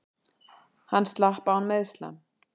Hann slapp án meiðsla.